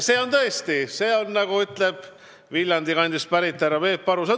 See on tõesti rõõmusõnum, nagu ütleb Viljandi kandist pärit härra Peep Aru.